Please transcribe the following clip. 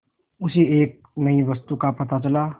उसे एक नई वस्तु का पता चला